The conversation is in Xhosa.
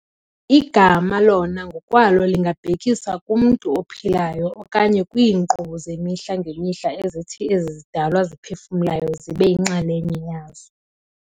Igama lona ngokwalo lingabhekisa kumntu ophilayo okanye kwiinkqubo zemihla ngemihla ezithi ezi zidalwa ziphefumlayo zibe yinxalenye yazo.